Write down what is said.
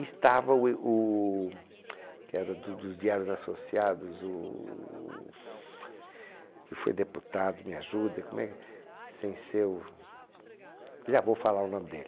E estava o... que era do dos diários associados, o... que foi deputado, me ajuda, como é que... Sem ser o... Já vou falar o nome dele.